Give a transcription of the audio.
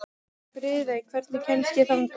Friðey, hvernig kemst ég þangað?